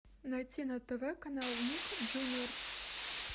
найти на тв канал ник джуниор